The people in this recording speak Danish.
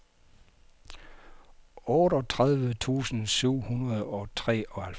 otteogtredive tusind syv hundrede og treoghalvfems